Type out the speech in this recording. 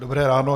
Dobré ráno.